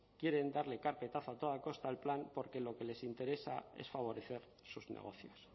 quieren darle carpetazo a toda costa al plan porque lo que les interesa es favorecer sus negocios